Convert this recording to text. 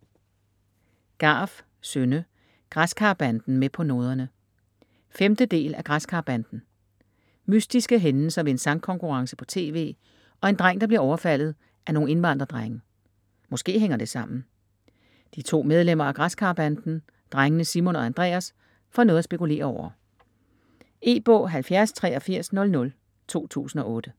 Garff, Synne: Græskarbanden med på noderne 5. del af Græskarbanden. Mystiske hændelser ved en sangkonkurrence på tv, og en dreng der bliver overfaldet af nogle indvandrerdrenge. Måske hænger det sammen? De to medlemmer af Græskarbanden, drengene Simon og Andreas, får noget at spekulere over. E-bog 708300 2008.